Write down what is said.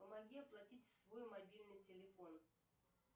помоги оплатить свой мобильный телефон